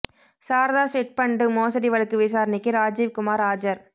Saradha chit fund மோசடி வழக்கு விசாரணைக்கு ராஜீவ் குமார் ஆஜர்